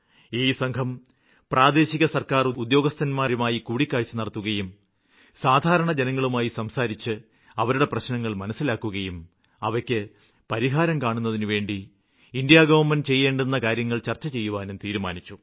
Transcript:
ഈ സംഘം പ്രാദേശിക സര്ക്കാര് ഉദ്യോഗസ്ഥരുമായി കൂടിക്കാഴ്ച നടത്തുകയും സാധാരണ ജനങ്ങളുമായി സംസാരിച്ച് അവരുടെ പ്രശ്നങ്ങള് മനസ്സിലാക്കുകയും അവയ്ക്ക് പരിഹാരം കാണുന്നതിനുവേണ്ടി കേന്ദ്ര ഗവണ്മെന്റ് ചെയ്യേണ്ടുന്ന കാര്യങ്ങള് ചര്ച്ച ചെയ്യുവാനും തീരുമാനിച്ചു